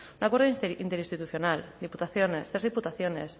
un acuerdo interinstitucional diputaciones tres diputaciones